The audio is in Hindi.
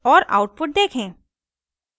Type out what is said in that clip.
और आउटपुट देखें